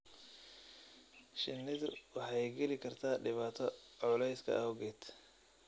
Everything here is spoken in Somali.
Shinnidu waxay geli kartaa dhibaato culayska awgeed.